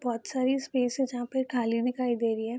बहुत साड़ी स्पेसेस यहाँ पे खाली दिखाई दे रही है।